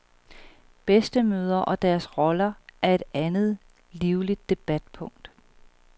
Bedstemødre og deres roller er et andet livligt debatpunkt.